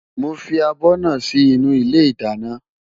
Mo fi abọ́ náà sí inú ilé ìdáná.